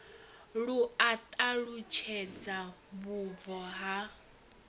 lu a ṱalutshedza vhubvo ha